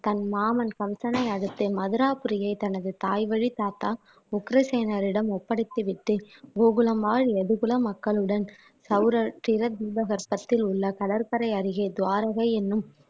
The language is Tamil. தன் மாமன் கம்சனை அழித்து மதுராபுரியை தனது தாய்வழி தாத்தா உக்கிரசேனரிடம் ஒப்படைத்து விட்டு கோகுலம்மாள் எதுகுல மக்களுடன் தீபகற்பத்தில் உள்ள கடற்கரை அருகே துவாரகை எண்ணும்